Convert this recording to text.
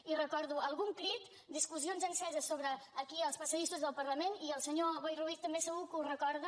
i recordo algun crit discussions enceses aquí als pas·sadissos del parlament i el senyor boi ruiz també se·gur que ho recorda